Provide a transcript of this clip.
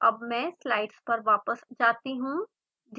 अब मैं स्लाइड्स पर वापस जाती हूँ